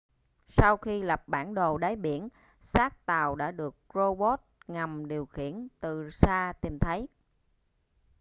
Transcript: sau khi lập bản đồ đáy biển xác tàu đã được rô bốt ngầm điều khiển từ xa tìm thấy